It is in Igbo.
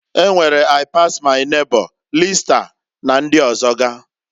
E nwere I-pass-my neighbor, lista, na ndị ọzọga.